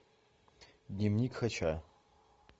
дневник хача